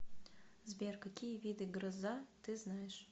сбер какие виды гроза ты знаешь